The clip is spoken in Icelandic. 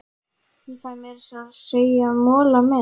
Ég fæ meira að segja mola með.